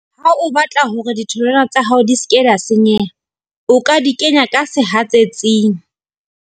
Ha o batla hore ditholwana tsa hao di ske la senyeha, o ka di kenya ka sehatsetsing.